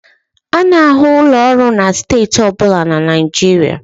A na-ahụ ụlọ ọrụ na steeti ọ bụla na Nigeria